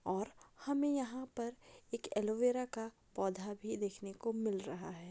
और हमें यहाँ पर एक एलोवेरा का पौधा भी देखने को मिल रहा है।